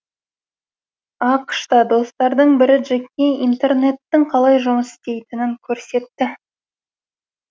ақш та достардың бірі джекке интернеттің қалай жұмыс істейтінін көрсетті